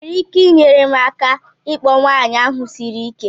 Ị nwere ike inyere m aka ịkpọ nwanyị ahụ siri ike?